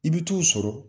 I bɛ t'o sɔrɔ